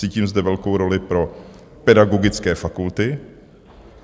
Cítím zde velkou roli pro pedagogické fakulty.